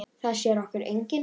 Það sér okkur enginn.